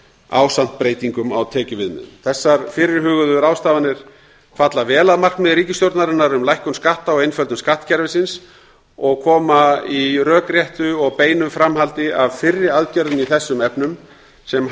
ásamt breytingum á tekjuviðmiðum þessar fyrirhugaðar ráðstafanir falla vel að markmiði ríkisstjórnarinnar um lækkun skatta og einföldun skattkerfisins og koma í rökréttu og beinu framhaldi af fyrri aðgerðum í þessum efnum sem